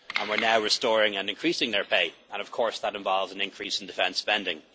We are now restoring and increasing their pay and, of course, that involves an increase in defence spending.